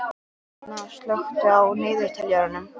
Etna, slökktu á niðurteljaranum.